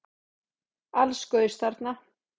Alls gaus þarna